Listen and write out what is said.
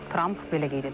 Tramp belə qeyd edib.